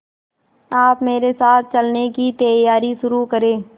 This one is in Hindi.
आप मेरे साथ चलने की तैयारी शुरू करें